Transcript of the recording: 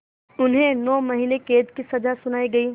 उन्हें नौ महीने क़ैद की सज़ा सुनाई गई